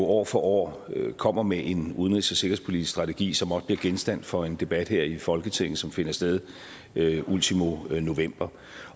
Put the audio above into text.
år for år kommer med en udenrigs og sikkerhedspolitisk strategi som også bliver genstand for en debat her i folketinget som finder sted ultimo november